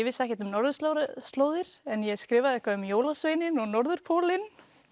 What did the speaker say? vissi ekkert um norðurslóðir norðurslóðir en ég skrifaði eitthvað um jólasveininn og norðurpólinn